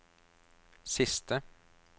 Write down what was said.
siste